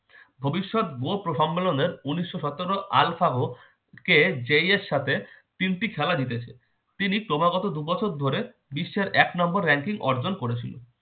ভবিষ্যত বো সম্মেলনের উনিশশো সতেরো আলফাগো কে জেই এর সাথে তিনটি খেলা জিতেছে। তিনি ক্রমাগত দু বছর ধরে বিশ্বের এক নাম্বার ranking অর্জন করেছিল।